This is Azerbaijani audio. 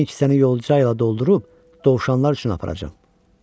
Mən ikisini yolcuqlə doldurub dovşanlar üçün aparacam.